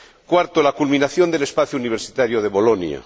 cuarta, la culminación del espacio universitario de Bolonia.